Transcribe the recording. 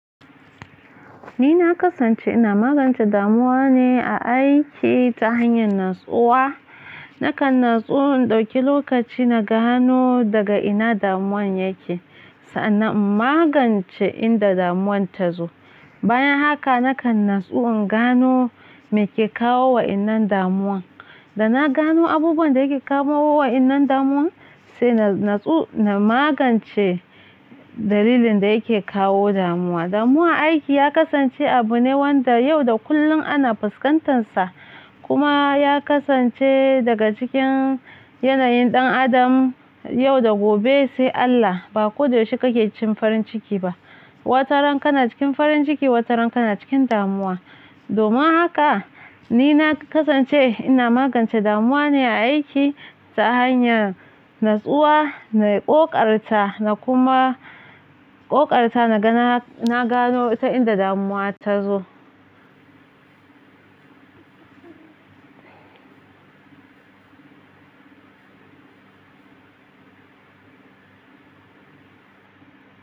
Ni na kasance ina magance damuwa ne a aiki ta hanyar natsuwa. Nakan natsu in ɗauki lokaci na gano daga ina damuwan yake, sannan in magance inda damuwan ta zo. Bayan haka nakan natsu in gano me ke kawo wa innan damuwan. Da na gano abubuwan da yake kawo wa innan damuwan, sai na natsu na magance dalilin da yake kawo damuwa. Damuwar aiki ya kasance abu ne wanda yau da kullum ana fuskantansa, kuma ya kasance daga cikin yanayin ɗan adam yau da gobe sai Allah. Ba ko da yaushe kake cikin farin ciki ba. Wataran ka na cikin farin ciki, wataran ka na cikin damuwa. Domin haka ni na kasance ina magance damuwa ne a aiki ta hanyar natsuwa na ƙoƙarta na kuma ƙoƙarta na gano ta inda damuwa ta zo.